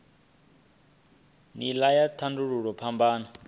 nila ya u tandululwa phambano